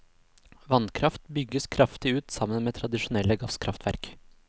Vannkraft bygges kraftig ut sammen med tradisjonelle gasskraftverk.